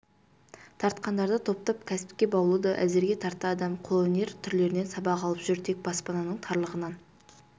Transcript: тартқандарды топтап кәсіпке баулуда әзірге тарта адам қолөнер түрлерінен сабақ алып жүр тек баспананың тарлығынан